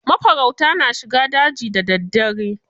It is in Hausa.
Mafarauta na shiga daji da daddare.